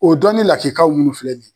O dɔni lakikamunu filɛ nin ye